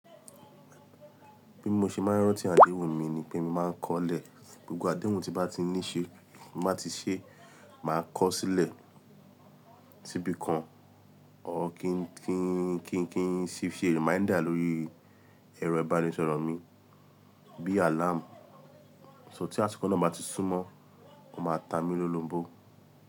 Bí mo ṣe máa ń rántí àdéhùn mi ni pé mo máa kọ́ lẹ̀. Gbogbo àdéhùn tí bá ti ní ṣe, mo bá ti ṣe, màá kọ sílẹ̀ síbi kan ọ kí ń, kí ń, kí ń, kí ń fi ṣe reminder lórí ẹ̀rọ ìbánisọ̀rọ̀ mi bí alarm. So tí àsìkò náà bá ti súnmọ́, ó máa ta mí lólómbó.